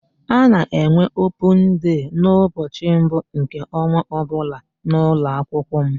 A na-enwe opun dei n'ụbọchị mbụ nke ọnwa ọbụla n'ụlọakwụkwọ m.